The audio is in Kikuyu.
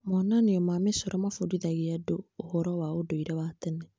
Monanio ma mĩcoro mabundithagia andũ ũhoro wa ũndũire wa tene.